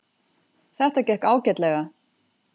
Þetta gekk ágætlega.